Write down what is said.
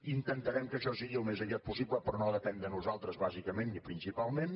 intentarem que això sigui al més aviat possible però no depèn de nosaltres bàsicament ni principalment